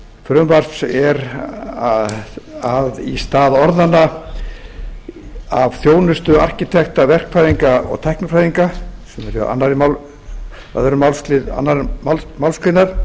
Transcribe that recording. frumvarps er að í stað orðanna af þjónustu arkitekta verkfræðinga og tæknifræðinga sem er í öðrum málslið annarrar málsgreinar